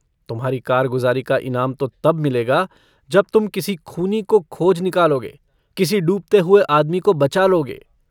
तुम्हारी कारगुजारी का इनाम तो तब मिलेगा जब तुम किसी खूनी को खोज निकालोगे किसी डूबते हुए आदमी को बचा लोगे।